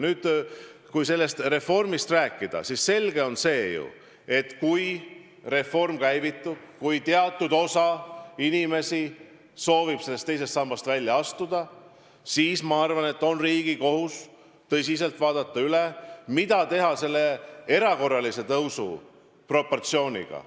Nüüd, kui sellest reformist rääkida, siis selge on, et kui reform käivitub ja kui teatud osa inimesi soovib teisest sambast välja astuda, siis on riigi kohus tõsiselt mõelda, mida teha pensioni erakorralise tõusuga.